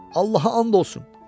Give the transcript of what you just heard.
Allaha and olsun.